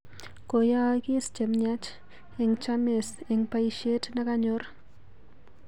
koyaagis chemyach eng chames eng boishet neganyor